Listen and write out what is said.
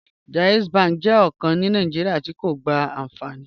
JAIZ bank jẹ bànki kàn ní Nàìjíríà tí̀ kò gbá ànfàní